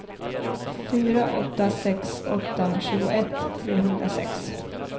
fyra åtta sex åtta tjugoett trehundrasex